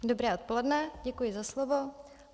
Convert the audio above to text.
Dobré odpoledne, děkuji za slovo.